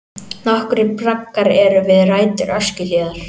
Nokkrir braggar eru við rætur Öskjuhlíðar.